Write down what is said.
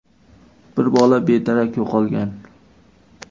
Bir bola bedarak yo‘qolgan.